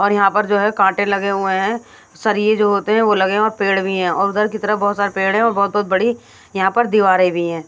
और यहाँ पर जो है काँटे लगे हुए हैं सरिए जो होते हैं वो लगे और पेड़ भी हैं और उधर की तरफ बहोत सारे पेड़ है और बहोत-बहोत बड़ी यहाँ पर दीवारें भी हैं।